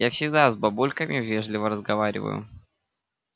я всегда с бабульками вежливо разговариваю